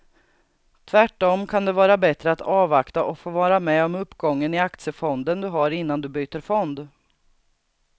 Tvärtom kan det vara bättre att avvakta och få vara med om uppgången i aktiefonden du har innan du byter fond.